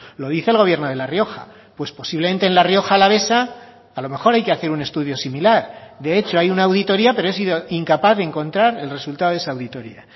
lo dice el gobierno de la rioja pues posiblemente en la rioja alavesa a lo mejor hay que hacer un estudio similar de hecho hay una auditoría pero he sido incapaz de encontrar el resultado de esa auditoría